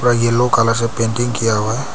Yellow colour से painting किया हुआ है।